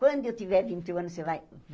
Quando eu tiver vinte e um anos, você vai?